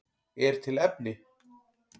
Er til efni?